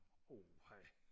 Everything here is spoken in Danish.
uha